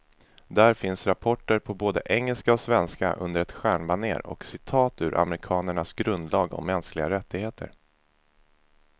Där finns rapporten på både engelska och svenska, under ett stjärnbanér och citat ur amerikanernas grundlag om mänskliga rättigheter.